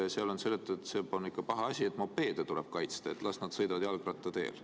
on ikka paha asi, mopeede tuleb kaitsta, las nad sõidavad jalgrattateel.